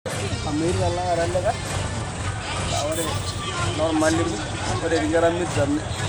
Ore eishoi oo ntikiti keitayu dupoto sapuk tosokoni.